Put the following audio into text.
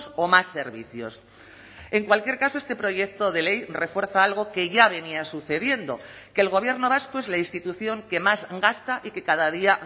o más servicios en cualquier caso este proyecto de ley refuerza algo que ya venía sucediendo que el gobierno vasco es la institución que más gasta y que cada día